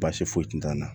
Baasi foyi t'an na